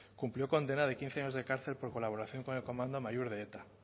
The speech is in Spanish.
cumplió condena de quince años de cárcel por colaboración con el comando amaiur de eta